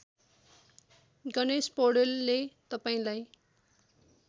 गणेश पौडेलले तपाईँलाई